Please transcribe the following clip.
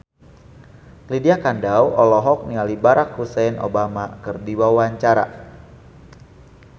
Lydia Kandou olohok ningali Barack Hussein Obama keur diwawancara